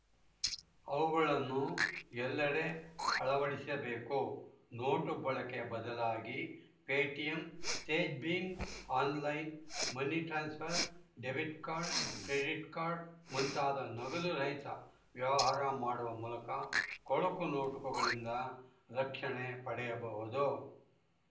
ಅವುಗಳನ್ನು ಎಲ್ಲೆಡೆ ಅಳವಡಿಸಬೇಕು ನೋಟು ಬಳಕೆಯ ಬದಲಾಗಿ ಪೇಟಿಎಂ ತೇಜ್‌ ಭೀಮ್‌ online money transfer debit credit card ಮುಂತಾದ ನಗದುರಹಿತ ವ್ಯವಹಾರ ಮಾಡುವ ಮೂಲಕ ಕೊಳಕು ನೋಟುಗಳಿಂದ ರಕ್ಷಣೆ ಪಡೆಯಬಹುದು